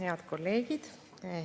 Head kolleegid!